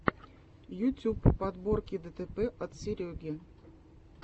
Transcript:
ютюб подборки дэтэпэ от сереги